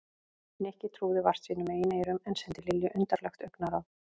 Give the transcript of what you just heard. Nikki trúði vart sínum eigin eyrum en sendi Lilju undarlegt augnaráð.